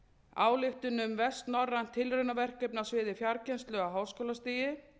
ályktun um vestnorrænt tilraunaverkefni á sviði fjarkennslu á háskólastigi